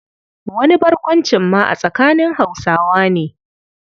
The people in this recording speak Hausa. Wani barkwancin ma a tsakanin Hausawa ne.